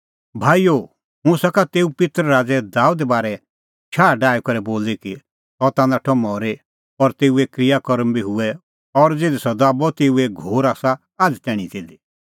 भाईओ हुंह सका तेऊ पित्तर राज़ै दाबेदे बारै शाह डाही करै बोली कि सह ता नाठअ मरी और तेऊए क्रिया कर्म बी हुऐ और ज़िधी सह दाबअ तेऊए घोर आसा आझ़ तैणीं तिधी